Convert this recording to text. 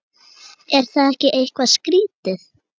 Er það ekki eitthvað skrítið?